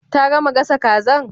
Ta gama gasa kazan?